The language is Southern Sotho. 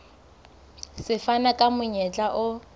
se fana ka monyetla o